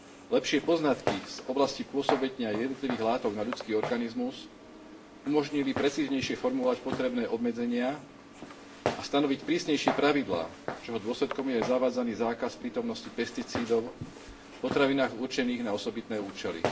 Lepšie poznatky z oblasti pôsobenia jednotlivých látok na ľudský organizmus umožnili precíznejšie formulovať potrebné obmedzenia a stanoviť prísnejšie pravidlá, čoho dôsledkom je aj zavadzaný zákaz prítomnosti pesticídov v potravinách určených na osobitné účely.